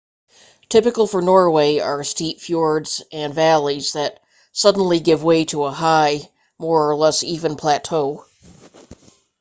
typical for norway are steep fjords and valleys that suddenly give way to a high more or less even plateau